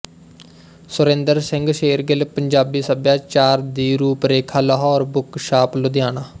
ਸੁਰਿੰਦਰ ਸਿੰਘ ਸ਼ੇਰਗਿੱਲ ਪੰਜਾਬੀ ਸਭਿਆਚਾਰ ਦੀ ਰੂਪਰੇਖਾ ਲਾਹੌਰ ਬੁਕ ਸ਼ਾਪ ਲੁਧਿਆਣਾ